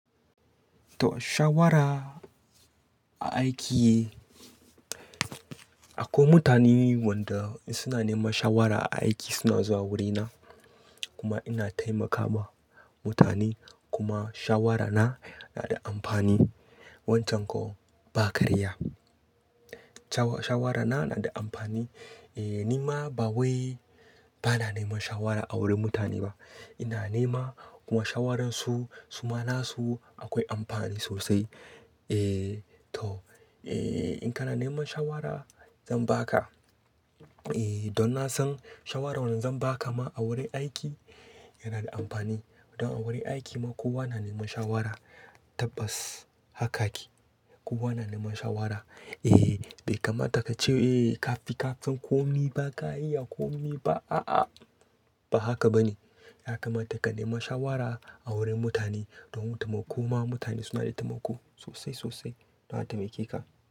To, shawara a aiki, akwai mutane wanda suna neman shawara a aiki suna zuwa wurina kuma ina taimakawa mutane kuma shawarana yana da amfani. Wancan kuwa ba karya. Shawara na yana da amfani. E, ni ma ba wai bana neman shawara a wurin mutane ba. Ina nema kuma shawaransu, suma nasu akwai amfani sosai. E, to, e, in kana neman shawara zan baka. E, don na san shawara wadda zan baka ma a wurin aiki yana da amfani. Don a wurin aiki ma kowa na neman shawara tabbas haka ake. Kowa na neman shawara. E, bai kamata ka ce, "E, ka fi ka san ko me ba ka iya ko me ba." A, a, ba haka ba ne. Ya kamata ka nema shawara a wurin mutane don taimako ma mutane suna da taimako sosai, sosai don a taimake ka.